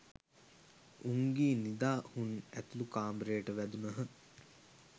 උංගී නිදා හුන් ඇතුළු කාමරයට වැදුනහ.